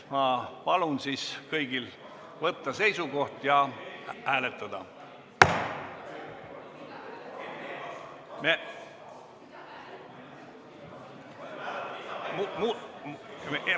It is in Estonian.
Ma palun kõigil võtta seisukoht ja hääletada! .